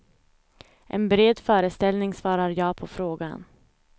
En bred föreställning svarar ja på frågan.